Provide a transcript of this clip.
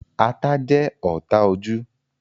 Ata jẹ́ ọ́ta ojú